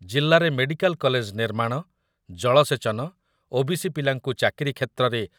ଜିଲ୍ଲାରେ medical college ନିର୍ମାଣ, ଜଳସେଚନ, ଓବିସି ପିଲାଙ୍କୁ ଚାକିରି କ୍ଷେତ୍ରରେ